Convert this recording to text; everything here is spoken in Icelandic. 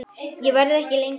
Ég verð ekki lengi